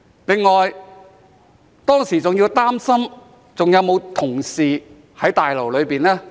此外，我當時還要擔心有沒有同事在大樓內呢？